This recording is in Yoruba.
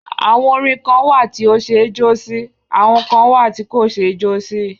Àwọn orin kan wà tí ó ṣe é jó sí; àwọn kan wà tí kò ṣe é jó sí.